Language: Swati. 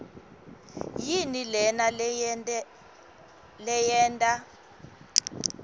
yini lena leyenta